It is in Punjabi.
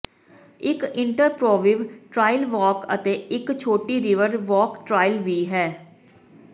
ਇਕ ਇੰਟਰਪ੍ਰੋਪੀਵਿਵ ਟ੍ਰਾਇਲ ਵਾਕ ਅਤੇ ਇਕ ਛੋਟੀ ਰਿਵਰ ਵੌਕ ਟ੍ਰਾਇਲ ਵੀ ਹੈ